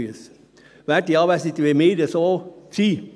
Werte Anwesende, wenn wir so sind …